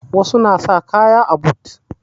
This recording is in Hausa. Wasu na sa kaya a but